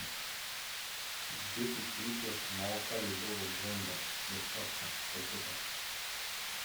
десять литров молока любого бренда доставка в пакетах